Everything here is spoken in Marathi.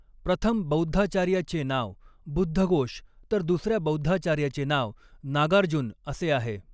प्रथम बौद्धाचार्याचे नाव बुद्धघोष तर दुसऱ्या बौद्धाचार्याचे नाव नागार्जुन असे आहे.